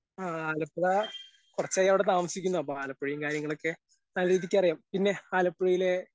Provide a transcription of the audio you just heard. ആ ആലപ്പുഴ കൊറച്ചായവിടെ താമസിക്കുന്നു അപ്പൊ ആലപ്പുഴയും കാര്യങ്ങളൊക്കെ നല്ല രീതിക്കറിയാം പിന്നെ ആലപ്പുഴയിലെ.